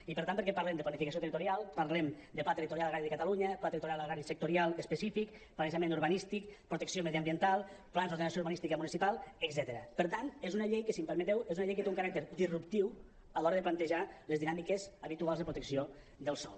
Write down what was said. i per tant perquè parlem de planificació territorial parlem de pla territorial agrari de catalunya pla territorial agrari sectorial específic planejament urbanístic protecció mediambiental plans d’ordenació urbanística municipal etcètera per tant és una llei que si m’ho permeteu té un caràcter disruptiu a l’hora de plantejar les dinàmiques habituals de protecció del sòl